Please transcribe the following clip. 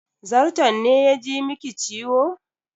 Zarton ne ya ji miki ciwo?